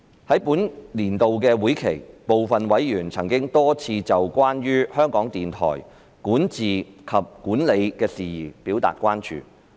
在本年度會期，部分委員曾多次就有關香港電台管治及管理的事宜表達關注。